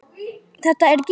Þetta er Gína!